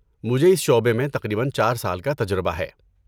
مجھے اس شعبے میں تقریباً چار سال کا تجربہ ہے